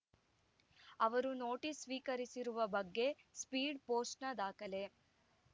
ಅವರು ನೋಟಿಸ್‌ ಸ್ವೀಕರಿಸಿರುವ ಬಗ್ಗೆ ಸ್ಪೀಡ್‌ ಪೋಸ್ಟ್‌ನ ದಾಖಲೆ